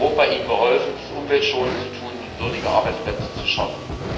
Hat Europa ihnen geholfen, dies umweltschonend zu tun und würdige Arbeitsplätze zu schaffen?